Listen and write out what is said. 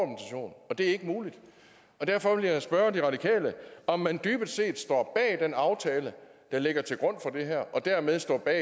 det er ikke muligt derfor vil jeg spørge de radikale om man dybest set står bag den aftale der ligger til grund for det her og dermed står bag